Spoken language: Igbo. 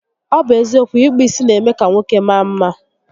Ọ bụ eziokwu, ịkpụ isi n'eme ka nwoke maa mma